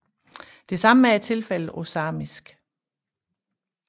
Det samme er tilfældet på samisk